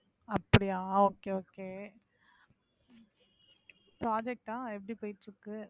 அப்படியா okay, okay. project அ எப்படி போய்ட்டு இருக்கு?